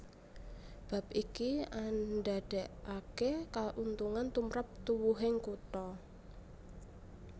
Bab iki andadèkaké kauntungan tumrap tuwuhing kutha